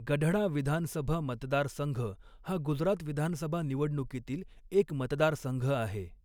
गढडा विधानसभा मतदारसंघ हा गुजरात विधानसभा निवडणुकीतील एक मतदारसंघ आहे.